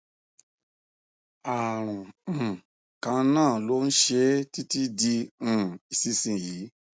àrùn um kan náà ló ń ṣe é títí di um ìsinsìnyí